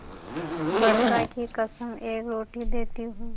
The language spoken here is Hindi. बड़का की कसम एक रोटी देती हूँ